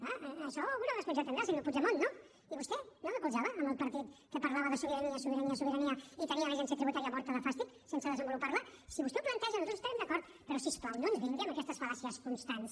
clar això alguna responsabilitat tindrà senyor puigdemont no i vostè no recolzava el partit que parlava de sobirania sobirania sobirania i tenia l’agència tributària morta de fàstic sense desenvolupar la si vostè ho planteja nosaltres hi estarem d’acord però si us plau no ens vingui amb aquestes fal·làcies constants